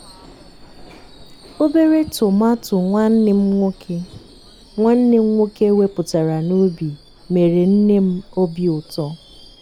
obere tomato nwanne m nwoke nwanne m nwoke wepụtara n'ubi mere nne m obi ụtọ.